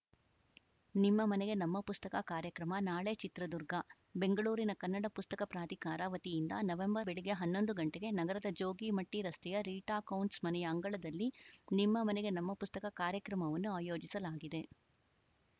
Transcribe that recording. ನಿಮ್ಮ ಮನೆಗೆ ನಮ್ಮ ಪುಸ್ತಕ ಕಾರ್ಯಕ್ರಮ ನಾಳೆ ಚಿತ್ರದುರ್ಗ ಬೆಂಗಳೂರಿನ ಕನ್ನಡ ಪುಸ್ತಕ ಪ್ರಾಧಿಕಾರ ವತಿಯಿಂದ ನವೆಂ ಬೆಳಗ್ಗೆ ಹನ್ನೊಂದು ಗಂಟೆಗೆ ನಗರದ ಜೋಗಿಮಟ್ಟಿರಸ್ತೆಯ ರೀಟಾ ಕೌಂಟ್ಸ್‌ ಮನೆಯ ಅಂಗಳದಲ್ಲಿ ನಿಮ್ಮ ಮನೆಗೆ ನಮ್ಮ ಪುಸ್ತಕ ಕಾರ್ಯಕ್ರಮವನ್ನು ಆಯೋಜಿಸಲಾಗಿದೆ